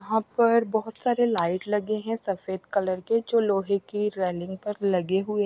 यहां पर बहुत सारे लाइट लगे हैं सफेद कलर के जो लोहे की रेलिंग पर लगे हुए --